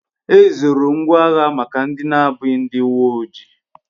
Ezoro ngwa agha maka ndi abughi ndi uwe oji